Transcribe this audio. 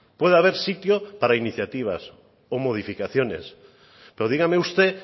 puede haber sitio para iniciativas o modificaciones pero dígame usted